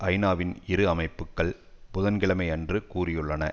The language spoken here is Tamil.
ஐநாவின் இரு அமைப்புக்கள் புதன்கிழமை அன்று கூறியுள்ளன